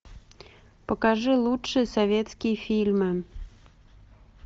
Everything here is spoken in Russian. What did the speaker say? покажи лучшие советские фильмы